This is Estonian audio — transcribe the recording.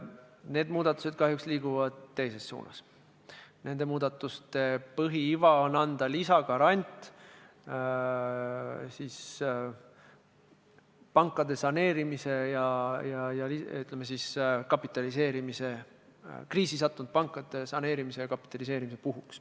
Need muudatused liiguvad kahjuks teises suunas ja nende põhiiva on anda lisagarant kriisi sattunud pankade saneerimise ja kapitaliseerimise puhuks.